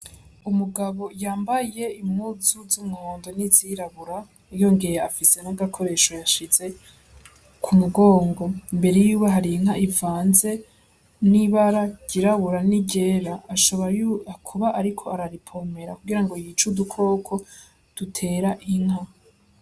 Umugabo yambaye impuzu z'umuhondo n'izirabura, yongeye afise n'agakoresho yashize ku mugongo. Imbere yiwe hari inka ivanze n'ibara ryirabura n'iryera, aca aba ariwe ariko arayipompera kugira ngo yice udukoko dutera inka.